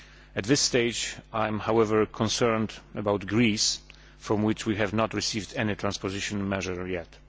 At this stage I am, however, concerned about Greece, from which we have not received any transposition measure yet.